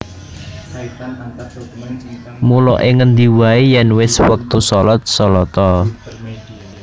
Mula ing ngendi waé yèn wis wektu shalat shalat a